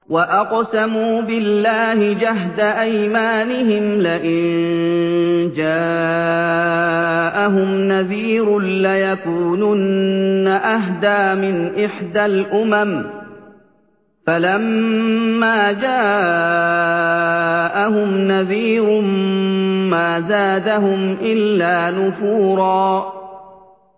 وَأَقْسَمُوا بِاللَّهِ جَهْدَ أَيْمَانِهِمْ لَئِن جَاءَهُمْ نَذِيرٌ لَّيَكُونُنَّ أَهْدَىٰ مِنْ إِحْدَى الْأُمَمِ ۖ فَلَمَّا جَاءَهُمْ نَذِيرٌ مَّا زَادَهُمْ إِلَّا نُفُورًا